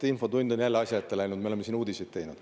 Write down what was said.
Infotund on jälle asja ette läinud, me oleme siin uudiseid teinud.